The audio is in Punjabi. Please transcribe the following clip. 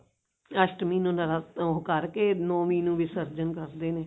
ਅਸ਼ਟਮੀ ਨੂੰ ਨਰਾ ਉਹ ਕਰਕੇ ਨੋਵੀਂ ਨੂੰ ਵਿਸਰਜਣ ਕਰਦੇ ਨੇ